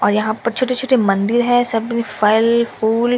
और यहां पर छोटे छोटे मंदिर है सभी फल फूल--